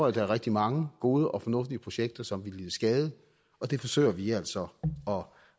at der er rigtig mange gode og fornuftige projekter som vil lide skade og det forsøger vi altså